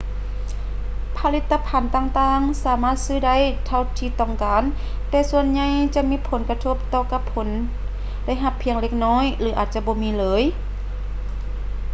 ຜະລິດຕະພັນຕ່າງໆສາມາດຊື້ໄດ້ເທົ່າທີ່ຕ້ອງການ ແຕ່ສ່ວນໃຫຍ່ຈະມີຜົນກະທົບຕໍ່ກັບຜົນໄດ້ຮັບພຽງເລັກນ້ອຍ ຫຼື ອາດບໍ່ມີເລີຍ